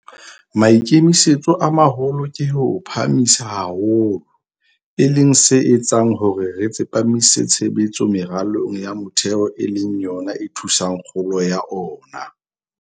Maikemisetso a maholo ke ho o phahamisa haholo, e leng se etsang hore re tsepamise tshebetso meralong ya metheo e leng yona e thusang kgolong ya ona.